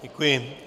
Děkuji.